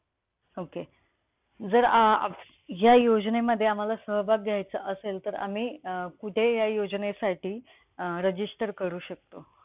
Okay. जर अं या योजनेमध्ये आम्हाला सहभाग घ्यायचा असेल तर, आम्ही अं कुठे या योजनेसाठी अं register करू शकतो?